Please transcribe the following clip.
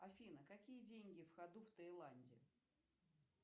афина какие деньги в ходу в тайланде